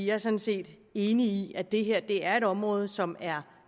er sådan set enig i at det er et område som er